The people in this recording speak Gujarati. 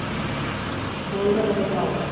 કોઈને કોઈ ખબર ના હોય